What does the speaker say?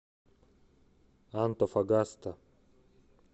антофагаста